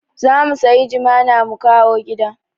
Za mu sayi jimana mu kawo gida